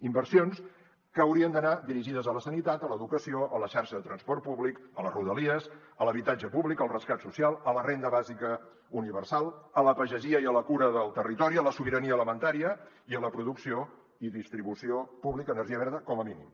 inversions que haurien d’anar dirigides a la sanitat a l’educació a la xarxa de transport públic a les rodalies a l’habitatge públic al rescat social a la renda bàsica universal a la pagesia i a la cura del territori a la sobirania alimentària i a la producció i distribució pública d’energia verda com a mínim